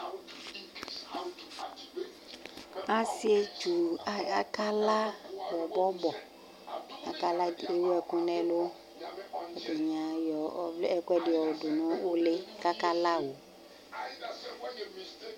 asie tchu aka lã bɔbɔbɔ aka lã ku ewu ɛku nɛlu ɛdini ayɔ ɛkuɛ ɛɖi yɔ du nu uli k'aka lao